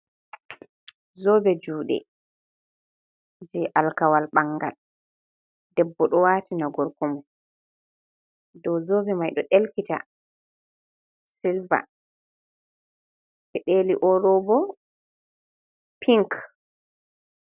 Zoobe juuɗe, je alkawal ɓangal, debbo ɗo waatina gorko mum, dow zoobe mai ɗo ɗelkita silva. Peɗeeli o ɗoo bo, pink.